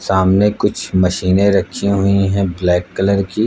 सामने कुछ मशीने रखी हुईं हैं ब्लैक कलर की।